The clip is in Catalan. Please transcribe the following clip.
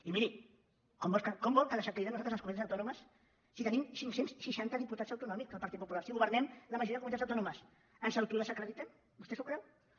i miri com vol que desacreditem nosaltres les comunitats autònomes si tenim cinc cents i seixanta diputats autonòmics el partit popular si governem la majoria de comunitats autònomes ens autodesacreditem vostè s’ho creu doncs no